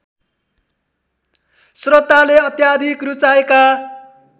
श्रोताले अत्याधिक रुचाएका